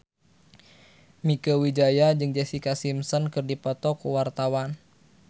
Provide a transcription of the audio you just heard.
Mieke Wijaya jeung Jessica Simpson keur dipoto ku wartawan